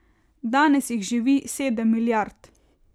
Danes jih živi sedem milijard.